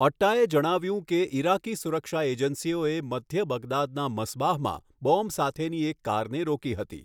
અટ્ટાએ જણાવ્યું કે ઇરાકી સુરક્ષા એજન્સીઓએ મધ્ય બગદાદના મસ્બાહમાં બોમ્બ સાથેની એક કારને રોકી હતી.